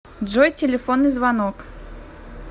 джой телефонный звонок